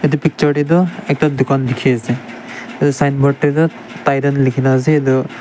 etu picture tetu ekta dukan dekhi ase sign board titan likhi kena ase.